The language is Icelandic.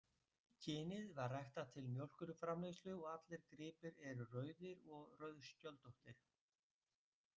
Kynið var ræktað til mjólkurframleiðslu og allir gripir eru rauðir og rauðskjöldóttir.